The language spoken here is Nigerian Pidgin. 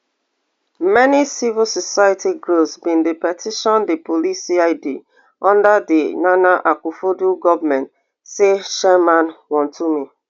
many civil society groups bin dey petition di police cid under di nana akufoaddo government say chairman wontumi